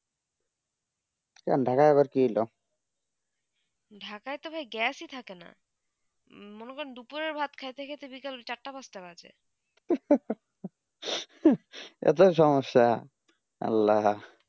ঢাকা বার কি হলো ঢাকা আবার gas ই থাকে না মনে হয়ে দুপুরে ভাত খেতে খেতে বিকাল চার তা পান্থ তা বাজে আটো সমস্যা আল্লাহ